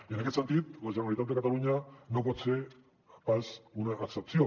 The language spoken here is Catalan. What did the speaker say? i en aquest sentit la generalitat de catalunya no pot ser pas una excepció